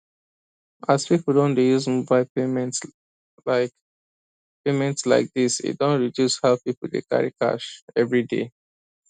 as people don dey use mobile payments like payments like this e don reduce how people dey carry cash everyday